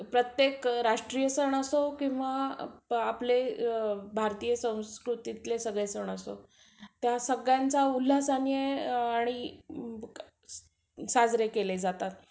प्रत्येक राष्ट्रीय सण असो किंवा आपले भारतीय संस्कृतीतले सगळे सण असो, त्या सगळ्यांचा उल्हासाने आणि साजरे केले जातात.